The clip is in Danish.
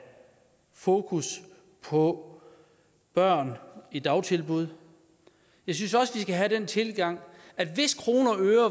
fokus på børn i dagtilbud jeg synes også man skal have den tilgang at hvis kroner og øre